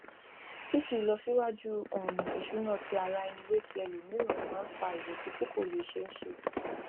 fífi ìlọsíwájú um ìṣúná ti ara ẹni wé ti ẹlòmíràn máa ń fa ìrètí tí kò lè ṣeéṣe